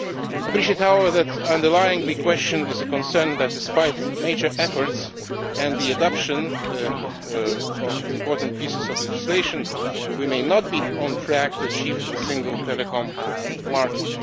I appreciate, however, that underlying the question is a concern that, despite major efforts and the adoption of important pieces of legislation, we may not be on track to achieve the single telecoms market.